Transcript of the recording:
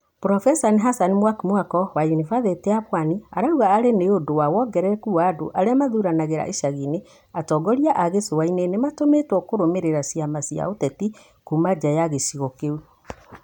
Profesa Hassan Mwakimako wa yunibathĩtĩ ya Pwani arauga arĩ nĩ ũndũ wa wongerereku wa andũ arĩa mathuranagĩra icagi-inĩ, atongoria a gĩcũa-inĩ nĩ matũmĩtwo kũrũmĩrĩra ciama cia ũteti kuuma nja ya gĩcĩgo kĩu.